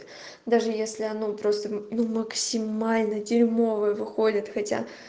даже если оно просто ну максимально дерьмовое выходит хотя